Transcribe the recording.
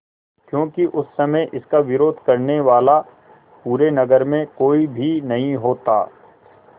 क्योंकि उस समय इसका विरोध करने वाला पूरे नगर में कोई भी नहीं होता